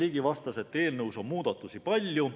Karin Ligi vastas, et eelnõus on muudatusi palju.